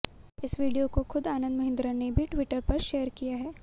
इस वीडियो को खुद आनंद महिंद्रा ने भी ट्विटर पर शेयर किया है